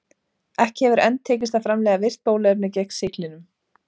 Ekki hefur enn tekist að framleiða virkt bóluefni gegn sýklinum.